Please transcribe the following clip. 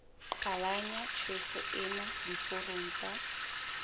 qhalanya tjhefo ena diforong tsa